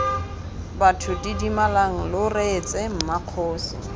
batho didimalang lo reetse mmakgosi